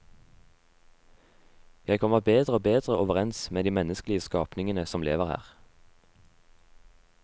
Jeg kommer bedre og bedre overens med de menneskelige skapningene som lever her.